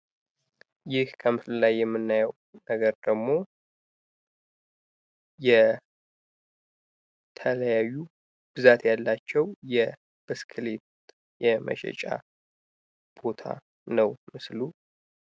ይህ ከመስሎ ላይ የምናየው ነገር ደግሞ የተለያዩ ብዛት ያላቸው ብስክሌት የመሸጫ ቦታ ነው ምስሉ።